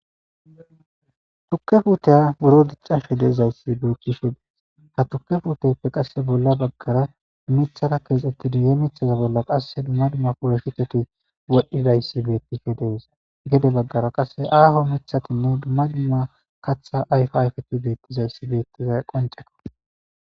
Tuuke puttey buro diccashe deiizaysi bettishin ha tuuke puutteyippe bolla baggera miththara kexxetida he miththata bolla qasseka dumma dumma polloshiteti wodhidayssi bettishe dessi gede baggera qasse aho miththatinne dumma dumma kaththa ayfa ayfeti bettizayssi qoncce.